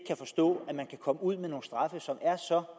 forstå at man kan komme ud med nogle straffe som er så